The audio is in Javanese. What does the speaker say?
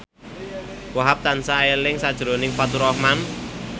Wahhab tansah eling sakjroning Faturrahman